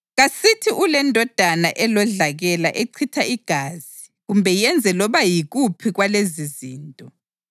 Kasithi ulendodana elodlakela echitha igazi kumbe yenze loba yikuphi kwalezizinto